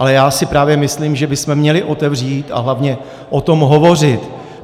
Ale já si právě myslím, že bychom měli otevřít a hlavně o tom hovořit.